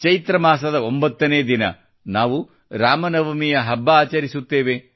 ಚೈತ್ರ ಮಾಸದ ಒಂಬತ್ತನೇ ದಿನ ನಾವು ರಾಮ ನವಮಿಯ ಹಬ್ಬವನ್ನು ಆಚರಿಸುತ್ತೇವೆ